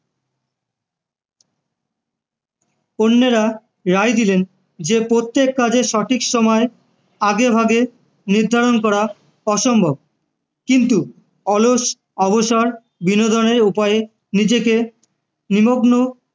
অন্যেরা রায় দিলেন যে প্রত্যেক কাজে সঠিক সময় আগেভাগে নির্ধারণ করা অসম্ভব কিন্তু অলস অবসর বিনোদনের উপায়ে নিজেকে নিমগ্ন